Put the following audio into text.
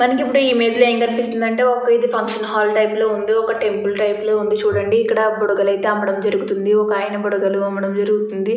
మనకి ఇప్పుడు ఈ ఇమేజ్ లో ఏం కనిపిస్తుంది అంటే ఒక ఇది ఫంక్షన్ హాల్ టైపు లాగా ఒక టెంపుల్ టైపు లాగా ఉంది చూడండి బుడగలు అయితే అమ్మడం జరుగుతుంది ఒక ఆయన.